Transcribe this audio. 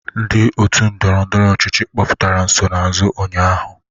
Ndị otu ndọrọndọrọ ọchịchị kpọpụtara nsonaazụ ụnyaahụ?